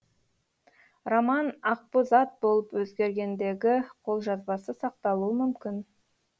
роман ақбозат болып өзгергендегі қолжазбасы сақталуы мүмкін